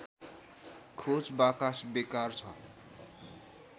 खोज बाकस बेकार छ